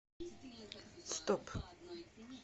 стоп